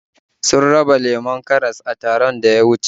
Sun raba lemon karas a taron da muka je